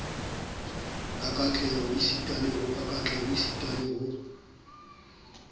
ka katleho esita le ho